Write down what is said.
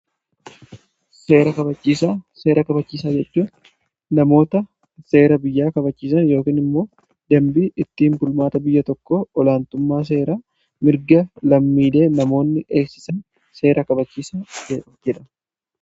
seera kabachiisaa jedhu namoota seera biyyaa kabachiisa yookii immoo dambii ittin bulmaata biyya tokko olaantummaa seera mirga lammiilee namoonni eeksisan seera kabachiisaa jedhama.